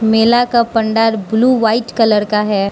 मेला का पंडाल blue white colour का है।